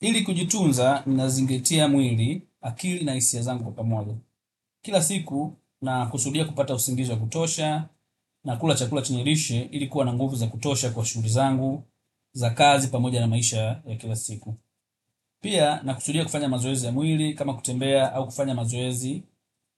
Ili kujitunza nazingatia mwili akili na hisia zangu kwa pamoja. Kila siku na kusudia kupata usingizi wa kutosha na kula chakula chenye lishe ilikuwa na nguvu za kutosha kwa shuguli zangu za kazi pamoja na maisha ya kila siku. Pia na kusudia kufanya mazoezi ya mwili kama kutembea au kufanya mazoezi